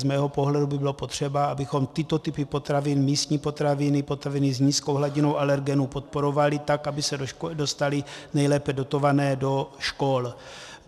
Z mého pohledu by bylo potřeba, abychom tyto typy potravin, místní potraviny, potraviny s nízkou hladinou alergenů, podporovali tak, aby se dostaly nejlépe dotované do škol.